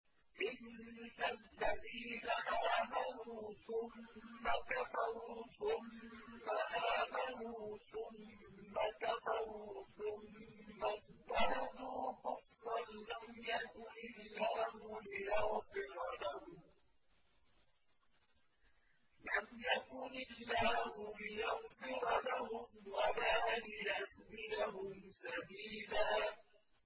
إِنَّ الَّذِينَ آمَنُوا ثُمَّ كَفَرُوا ثُمَّ آمَنُوا ثُمَّ كَفَرُوا ثُمَّ ازْدَادُوا كُفْرًا لَّمْ يَكُنِ اللَّهُ لِيَغْفِرَ لَهُمْ وَلَا لِيَهْدِيَهُمْ سَبِيلًا